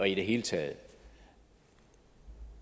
i det hele taget